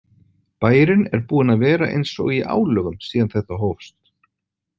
Bærinn er búinn að vera eins og í álögum síðan þetta hófst.